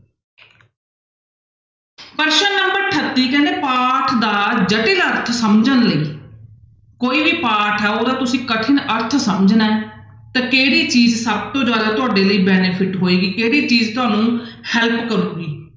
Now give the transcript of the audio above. ਪ੍ਰਸ਼ਨ number ਅਠੱਤੀ ਕਹਿੰਦੇ ਪਾਠ ਦਾ ਜਟਿਲ ਅਰਥ ਸਮਝਣ ਲਈ ਕੋਈ ਵੀ ਪਾਠ ਆ ਉਹਦਾ ਤੁਸੀਂ ਕਠਿਨ ਅਰਥ ਸਮਝਣਾ ਹੈ ਤਾਂ ਕਿਹੜੀ ਚੀਜ਼ ਸਭ ਤੋਂ ਜ਼ਿਆਦਾ ਤੁਹਾਡੇ ਲਈ benefit ਹੋਏਗੀ, ਕਿਹੜੀ ਚੀਜ਼ ਤੁਹਾਨੂੰ help ਕਰੇਗੀ।